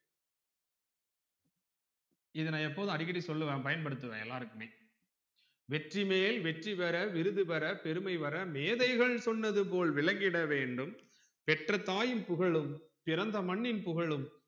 இத நான் எப்போதும் அடிக்கடி சொல்லுவேன் பயன் படுத்துவேன் எல்லார்க்குமே வெற்றிமேல் வெற்றிபெற விருது பெற பெருமை வர மேதைகள் சொன்னது போல் விலங்கிட வேண்டும் பெற்ற தாயும் புகழும் பிறந்த மண்ணின் புகழும்